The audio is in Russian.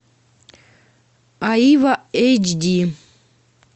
аива эйч ди